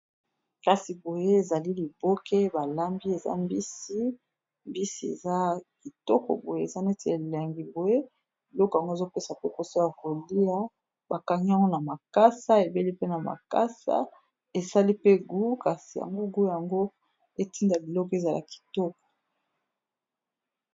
Kasi boye ezali liboke balambi eza mbisi, mbisi eza kitoko boye eza neti elengi boye biloko yango ezopesa pe posa ya kolia, bakangi yango na makasa ebeli pe na makasa esali pe gu kasi yango gu yango etinda liloko ezala kitoko.